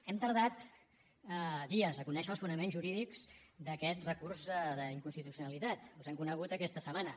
hem tardat dies a conèixer els fonaments jurídics d’aquest recurs d’inconstitucionalitat els hem conegut aquesta setmana